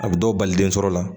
A bɛ dɔw bali den sɔrɔ la